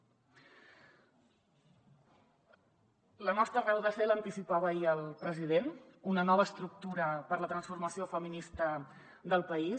la nostra raó de ser l’anticipava ahir el president una nova estructura per a la transformació feminista del país